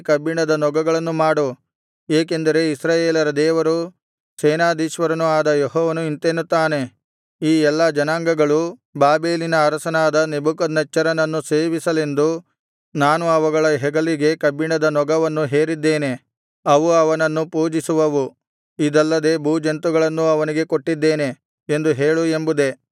ಕಬ್ಬಿಣದ ನೊಗಗಳನ್ನು ಮಾಡು ಏಕೆಂದರೆ ಇಸ್ರಾಯೇಲರ ದೇವರೂ ಸೇನಾಧೀಶ್ವರನೂ ಆದ ಯೆಹೋವನು ಇಂತೆನ್ನುತ್ತಾನೆ ಈ ಎಲ್ಲಾ ಜನಾಂಗಗಳು ಬಾಬೆಲಿನ ಅರಸನಾದ ನೆಬೂಕದ್ನೆಚ್ಚರನನ್ನು ಸೇವಿಸಲೆಂದು ನಾನು ಅವುಗಳ ಹೆಗಲಿಗೆ ಕಬ್ಬಿಣದ ನೊಗವನ್ನು ಹೇರಿದ್ದೇನೆ ಅವು ಅವನನ್ನು ಪೂಜಿಸುವವು ಇದಲ್ಲದೆ ಭೂಜಂತುಗಳನ್ನೂ ಅವನಿಗೆ ಕೊಟ್ಟಿದ್ದೇನೆ ಎಂದು ಹೇಳು ಎಂಬುದೇ